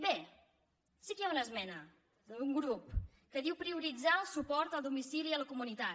bé sí que hi ha una esmena d’un grup que diu prioritzar el suport a domicili a la comunitat